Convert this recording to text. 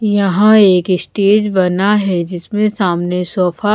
यहाँ एक स्टेज बना है जिसमें सामने सोफा --